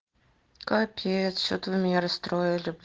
капец что-то вы меня расстроили